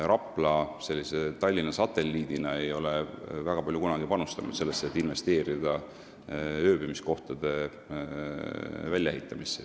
Rapla n-ö Tallinna satelliidina ei ole kunagi väga palju panustanud sellesse, et investeerida ööbimiskohtade väljaehitamisse.